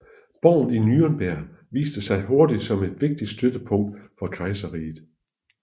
Borgen i Nürnberg viste sig hurtigt som et vigtigt støttepunkt for kejserriget